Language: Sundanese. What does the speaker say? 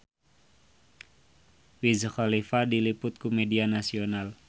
Wiz Khalifa diliput ku media nasional